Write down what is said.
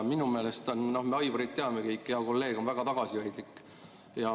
Me Aivarit teame kõik, hea kolleeg on väga tagasihoidlik.